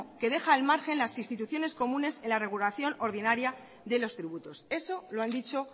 que deja al margen las instituciones comunes en la regulación ordinaria de los tributos eso lo han dicho